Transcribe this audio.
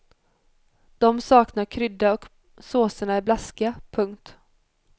De saknar krydda och såserna är blaskiga. punkt